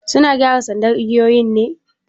Suna gyara sandar igiyoyin ne?